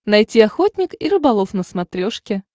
найти охотник и рыболов на смотрешке